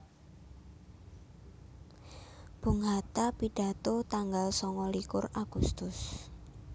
Bung Hatta pidato tanggal sangalikur Agustus